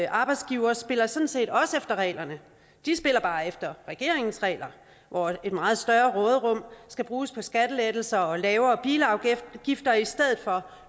arbejdsgivere spiller sådan set også efter reglerne de spiller bare efter regeringens regler hvor et meget større råderum skal bruges på skattelettelser og lavere bilafgifter i stedet for